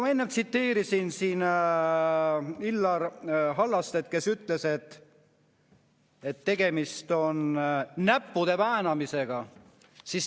Ma enne tsiteerisin siin Illar Hallastet, kes ütles, et tegemist on näppude väänamisega.